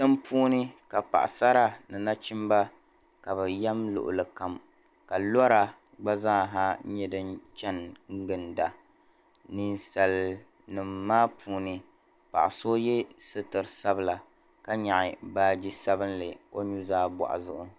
Tiŋ'puuni ka paɣasara ni nachimba ka be yem luɣili kam ka lora gba zaaha nyɛ din chani ginda nisalinima maa puuni paɣa so ye sitir'sabila ka nyɛɣi baaji sabinli o nu'zaa buɣua zuɣu.